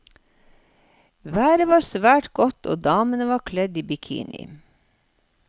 Været var svært godt og damene var kledd i bikini.